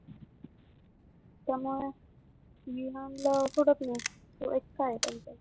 त्यामुळ मी म्हणल सोडत नाही